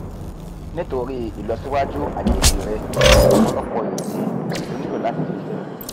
nítorí ìlọsíwájú àjèjì rẹ̀ ọ̀pọ̀lọpọ̀ ìdí ló nílò láti ṣiṣẹ́